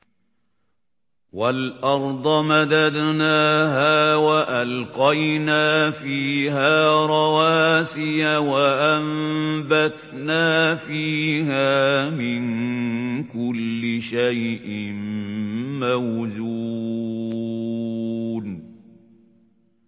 وَالْأَرْضَ مَدَدْنَاهَا وَأَلْقَيْنَا فِيهَا رَوَاسِيَ وَأَنبَتْنَا فِيهَا مِن كُلِّ شَيْءٍ مَّوْزُونٍ